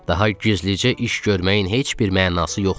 Daha gizlicə iş görməyin heç bir mənası yoxdur.